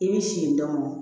I bɛ si dɔɔni